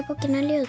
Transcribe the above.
bókina